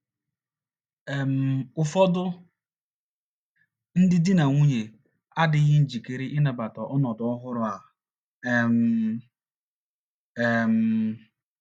um Ụfọdụ ndị di na nwunye adịghị njikere ịnabata ọnọdụ ọhụrụ a um. um